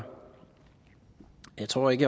jeg tror ikke